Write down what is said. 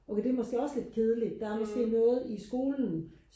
okay det er måske også lidt kedeligt der er måske noget i skolen